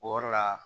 O yɔrɔ la